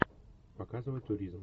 показывай туризм